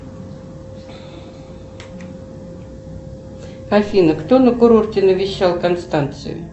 афина кто на курорте навещал констанцию